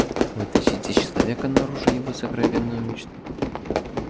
вытащить из человека наружу его сокровенную мечту